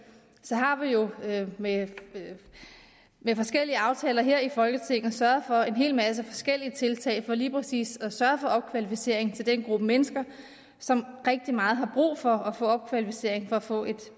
har vi jo med forskellige aftaler her i folketinget sørget for en hel masse forskellige tiltag for lige præcis at sørge for opkvalificering til den gruppe mennesker som rigtig meget har brug for at få opkvalificering for at få et